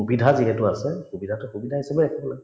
সুবিধা যিহেতু আছে সুবিধাতো সুবিধা হিচাপে